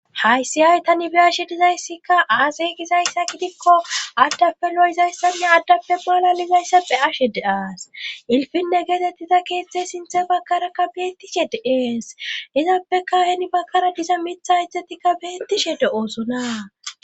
hayssi hay tani beyashe dizayssikka aasey gizayssa gidikko addappe lo7izayssanne addappe malalizayssappe ashe de aas ilfinne geetettiza keetztzey sinthe bakkarakka beettishe de ees izappeka heni bakkara diza mitha ijjzatikka beettishe de7oosona